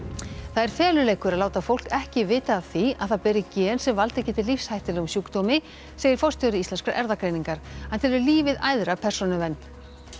það er feluleikur að láta fólk ekki vita af því að það beri gen sem valdið geti lífshættulegum sjúkdómi segir forstjóri Íslenskrar erfðagreiningar hann telur lífið æðra persónuvernd